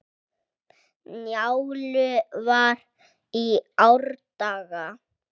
Njálu var í árdaga.